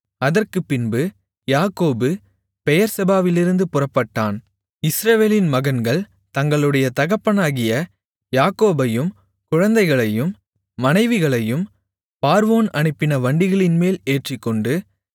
அதற்குப்பின்பு யாக்கோபு பெயெர்செபாவிலிருந்து புறப்பட்டான் இஸ்ரவேலின் மகன்கள் தங்களுடைய தகப்பனாகிய யாக்கோபையும் குழந்தைகளையும் மனைவிகளையும் பார்வோன் அனுப்பின வண்டிகளின்மேல் ஏற்றிக்கொண்டு